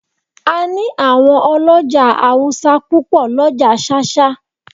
A ní àwọn ọlọ́jà Awúsá púpò l'ọ́ja ṣáṣá